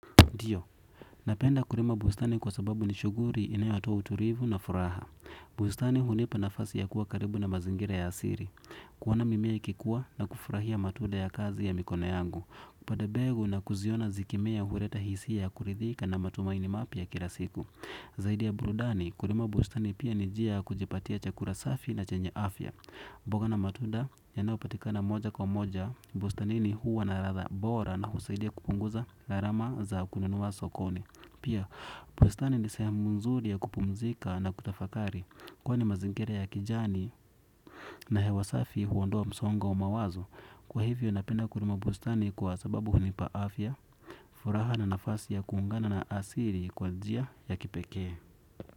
Dio, napenda kurima bustani kwa sababu ni shuguri inayotoa uturivu na furaha. Bustani hunipa nafasi ya kuwa karibu na mazingira ya asiri. Kuona mimea ikikua na kufurahia matuda ya kazi ya mikono yangu. Kupanda mbegu na kuzioni zikimea huleta hisia ya kuridhika na matumaini mapya kila siku. Zaidi ya burudani, kurima bustani pia ni njia ya kujipatia chakura safi na chenye afya. Mboga na matunda ya nao patika na moja kwa moja, bustani ni huwa na ratha bora na husaidia kupunguza gharama za kununua sokoni. Pia bustani ni sehemu nzuri ya kupumzika na kutafakari kwani mazingira ya kijani. Na hewasafi huondoa msongo wa mawazo. Kwa hivyo napenda kurima bustani kwa sababu hunipa afya. Furaha na nafasi ya kuungana na asiri kwa njia ya kipekee.